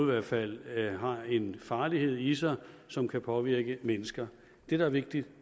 hvert fald har en farlighed i sig som kan påvirke mennesker det der er vigtigt